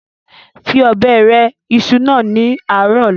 fi Ọ̀bẹ rẹ ìṣù náà ni ààrọ̀ ọ̀la!